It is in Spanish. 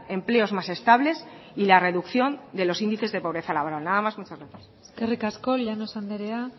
empleos más estables y la reducción de los índices de pobreza laboral nada más muchas gracias eskerrik asko llanos andrea